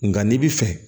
Nga n'i bi fɛ